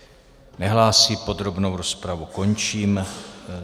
Nehlásí, podrobnou rozpravu končím.